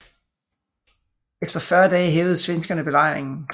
Efter 40 dage hævede svenskerne belejringen